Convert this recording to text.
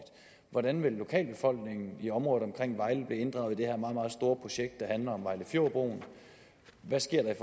hvordan vil lokalbefolkningen i området omkring vejle blive inddraget i det her meget meget store projekt der handler om vejlefjordbroen hvad sker der i